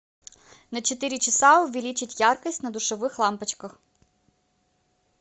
на четыре часа увеличить яркость на душевых лампочках